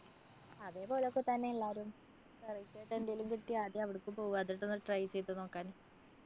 അതെപോലൊക്കെ തന്നാ എല്ലാരും. variety ആയിട്ട് എന്തെങ്കിലും കിട്ടിയാ ആദ്യം അവടക്കു പോവാ, അതൊക്കെ ഒന്ന് try ചെയ്ത് നോക്കാന്.